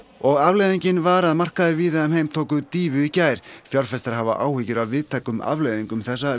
og afleiðingin var að markaðir víða um heim tóku dýfu í gær fjárfestar hafa áhyggjur af víðtækum afleiðingum þessa